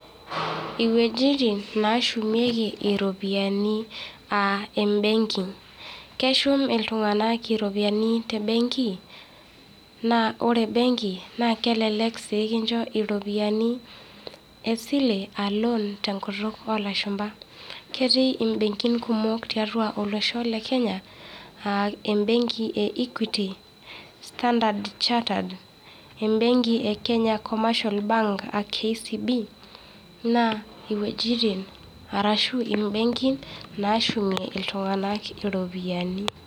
Iwejitin naa shumieki iropiyiani aa embenki. Keshum iltunganak iropiyiani tembenki naa ore embenki naa kelelek sii kincho iropiyiani esile aa loan tenkutuk oo lashumpa. Ketii imbenkin kumok tiatua olosho lekenya, aa embenki e equity, Starndard chartered embenki e Kenya Commercial Bank aa KCB naa iwejitin arashu imbenkin naashumie iltung'anak iropiyiani.